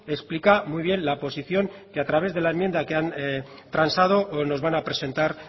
explica muy bien la posición que a través de la enmienda que han transado nos van a presentar